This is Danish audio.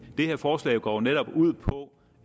her forslag går jo netop ud på